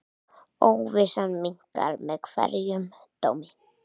Óvissan minnkar með hverjum dómi.